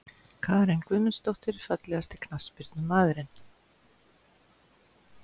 Karen Guðmundsdóttir Fallegasti knattspyrnumaðurinn?